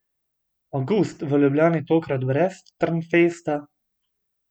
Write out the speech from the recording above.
Avgust v Ljubljani tokrat brez Trnfesta?